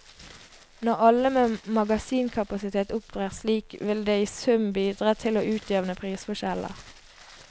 Når alle med magasinkapasitet opptrer slik, vil det i sum bidra til å utjevne prisforskjeller.